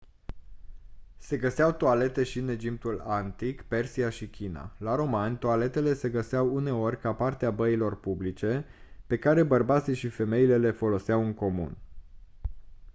se găseau toalete și în egiptul antic persia și china la romani toaletele se găseau uneori ca parte a băilor publice pe care bărbații și femeile le foloseau în comun